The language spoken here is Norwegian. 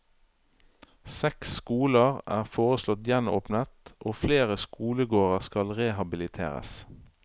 Seks skoler er foreslått gjenåpnet og flere skolegårder skal rehabiliteres.